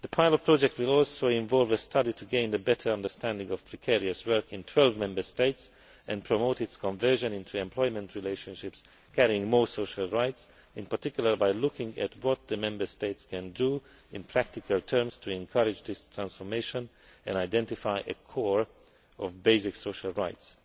The pilot project will also involve a study to gain a better understanding of precarious work in 12 Member States, and to promote its conversion into employment relationships carrying more social rights, in particular, by looking at what the Member States can do in practical terms to encourage this transformation and identify a core of basic social rights.